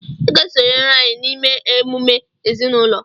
ị ga-esonyere anyị n'ịme emume ezinụlọ!